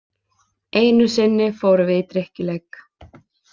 Einu sinni fórum við í drykkjuleik.